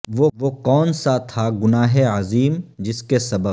وہ کون سا تھا گناہ عظیم جس کے سبب